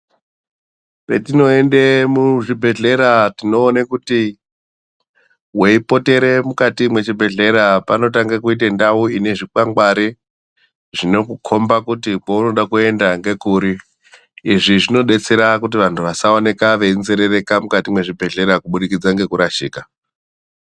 Patinoenda muzvibhehlera tinoona kuti weipotera mukati mechibhedhlera panotanga kuita ndau ine zvikwangwari zvinokukomba kuti pounoda kuenda ngekuri izvi zvodetsera kuti vantu vasaoka veinzerereka mukati muzvibhehlera kuburikidza ngekurashika.